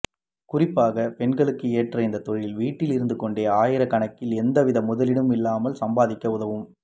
குறிப்பாகப் பெண்களுக்கு ஏற்ற இந்தத் தொழில் வீட்டில் இருந்து கொண்டே ஆயிரக்கணக்கில் எந்தவித முதலீடும் இல்லாமல் சம்பாதிக்க உதவும்